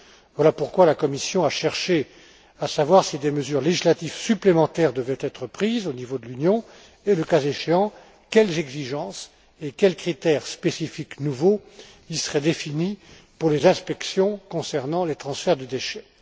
Voilà pourquoi la Commission a cherché à savoir si des mesures législatives supplémentaires devaient être prises au niveau de l'Union et, le cas échéant, quelles exigences et quels critères spécifiques nouveaux y seraient définis pour les inspections concernant les transferts de déchets.